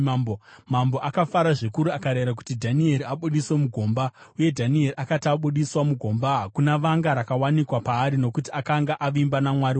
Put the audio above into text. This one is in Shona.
Mambo akafara zvikuru akarayira kuti Dhanieri abudiswe mugomba. Uye Dhanieri akati abudiswa mugomba, hakuna vanga rakawanikwa paari, nokuti akanga avimba naMwari wake.